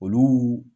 Olu